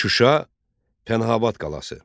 Şuşa Pənahabad qalası.